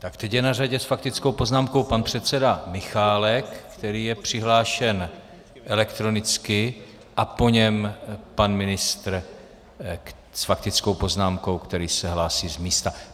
Tak teď je na řadě s faktickou poznámkou pan předseda Michálek, který je přihlášen elektronicky, a po něm pan ministr s faktickou poznámkou, který se hlásí z místa.